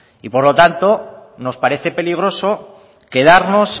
y por lo tanto nos parece peligroso quedarnos